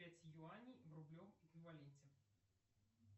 пять юаней в рублевом эквиваленте